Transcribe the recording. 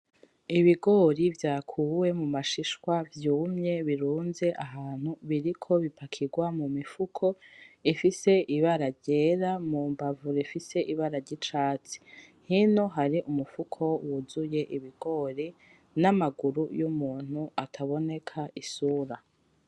Ibigori vyakuwe mu mashishwa vyumye birunze ahantu biriko bipakirwa mu mifuko ifise ibara ryera mu mbavu bifise ibara ry'icatsi, hino hari umufuko wuzuye ibigori n'amaguru y'umuntu ataboneka isura.